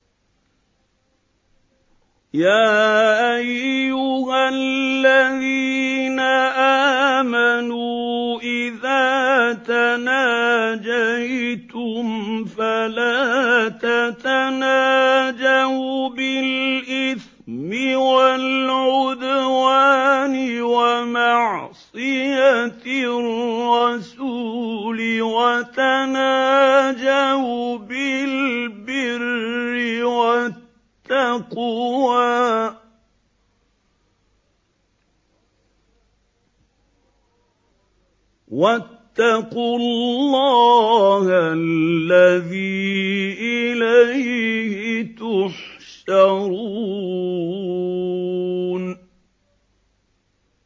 يَا أَيُّهَا الَّذِينَ آمَنُوا إِذَا تَنَاجَيْتُمْ فَلَا تَتَنَاجَوْا بِالْإِثْمِ وَالْعُدْوَانِ وَمَعْصِيَتِ الرَّسُولِ وَتَنَاجَوْا بِالْبِرِّ وَالتَّقْوَىٰ ۖ وَاتَّقُوا اللَّهَ الَّذِي إِلَيْهِ تُحْشَرُونَ